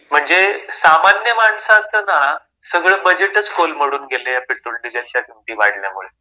म्हणजे सामान्य माणसाचं ना सगळं बजेटच कोलमडून गेलं या पेट्रोल डिझेलच्या किमती वाढल्यामुळे.